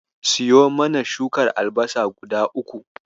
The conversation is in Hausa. Siyo mana shukar albasa guda uku.